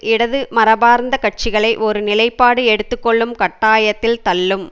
இடது மரபார்ந்த கட்சிகளை ஒரு நிலைப்பாடு எடுத்து கொள்ளும் கட்டாயத்தில் தள்ளும்